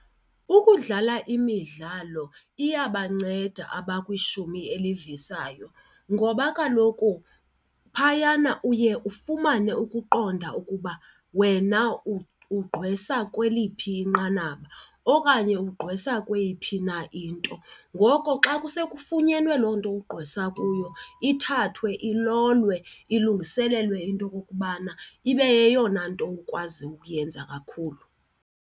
Ukudlala imidlalo iyabanceda abakwishumi elivisayo ngoba kaloku phayana uye ufumane ukuqonda ukuba wena ugqwesa kweliphi inqanaba okanye ugqwesa kweyiphi na into. Ngoko xa kuse kufunyenwe loo nto ugqwesa kuyo, ithathwe ilolwe ilungiselelwe into yokokubana ibe yeyona nto ukwazi ukuyenza kakhulu.